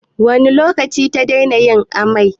Wane lokaci ta daina yin amai?